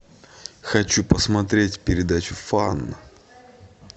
хочу посмотреть передачу фан